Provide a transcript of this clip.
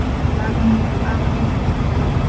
Þetta lag umlykur afar einfalt tauganet.